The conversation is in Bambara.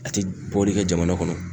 A te bɔlii kɛ jamana kɔnɔ